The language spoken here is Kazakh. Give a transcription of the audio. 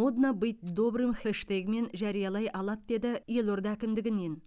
моднобытьдобрым хэштегімен жариялай алады деді елорда әкімдігінен